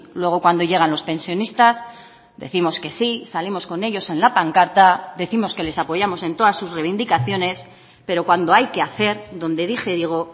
luego cuando llegan los pensionistas décimos que sí salimos con ellos en la pancarta décimos que les apoyamos en todas sus reivindicaciones pero cuando hay que hacer donde dije digo